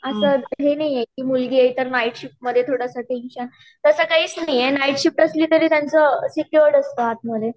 अस हे नाही आहे कि मुलगी आहे तर नाइट शिफ्ट मध्ये थोडासा टेंशन तास काहीच नाही आहे नाइट शिफ्ट असली तरी त्याचं सेक्यूर्ड असत आत मध्ये